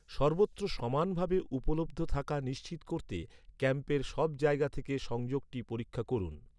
সর্বত্র সমানভাবে উপলব্ধ থাকা নিশ্চিত করতে ক্যাম্পের সব জায়গা থেকে সংযোগটি পরীক্ষা করুন।